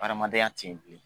Adamadenya tɛ yen bilen.